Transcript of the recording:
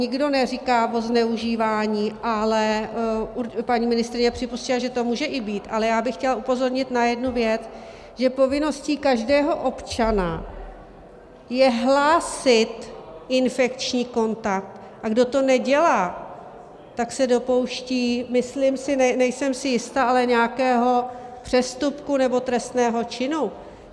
Nikdo neříká o zneužívání - ale paní ministryně připustila, že to může i být - ale já bych chtěla upozornit na jednu věc, že povinností každého občana je hlásit infekční kontakt, a kdo to nedělá, tak se dopouští, myslím si, nejsem si jista, ale nějakého přestupku nebo trestného činu.